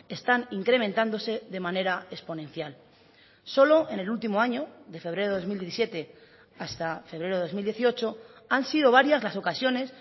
están incrementándose de manera exponencial solo en el último año de febrero de dos mil diecisiete hasta febrero de dos mil dieciocho han sido varias las ocasiones